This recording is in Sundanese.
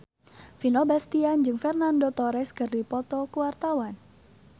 Vino Bastian jeung Fernando Torres keur dipoto ku wartawan